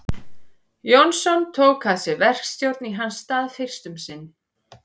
Jónsson tók að sér verkstjórn í hans stað fyrst um sinn.